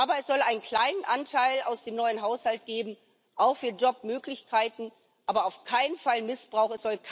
Aber es soll einen kleinen Anteil aus dem neuen Haushalt geben, auch für Jobmöglichkeiten, aber auf keinen Fall Missbrauch.